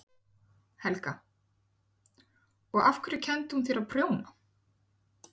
Helga: Og af hverju kenndi hún þér að prjóna?